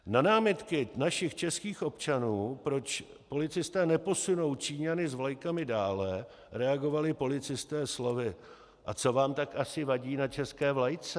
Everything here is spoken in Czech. Na námitky našich českých občanů, proč policisté neposunou Číňany s vlajkami dále, reagovali policisté slovy: A co vám tak asi vadí na české vlajce?